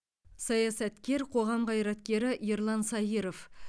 саясаткер қоғам қайраткері ерлан саиров